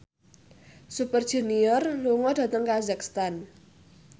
Super Junior lunga dhateng kazakhstan